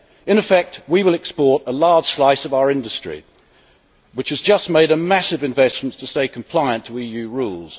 In effect, we will export a large slice of our industry which has just made massive investments to stay compliant with EU rules.